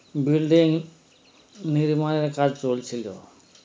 building নির্মাণের কাজ চলছিল